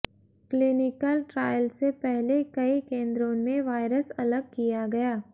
clinical trial से पहले कई केंद्रों में वायरस अलग किया गया